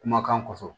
Kumakan kɔfɛ